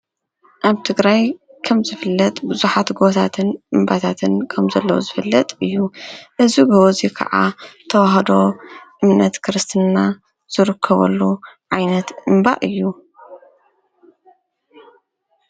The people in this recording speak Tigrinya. ኣብ ትግራይ ከም ዘፍለጥ ብዙኃት ጐቦታትን እምባታትን ከም ዘለዉ ዝፍለጥ እዩ እዝ ገወዙይ ከዓ ተውህዶ እምነት ክርስትና ዘርክበሉ ዓይነት እምባ እዩ።